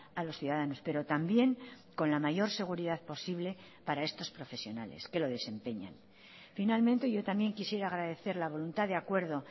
a los ciudadanos pero también con la mayor seguridad posible para estos profesionales que lo desempeñan finalmente yo también quisiera agradecer la voluntad de acuerdo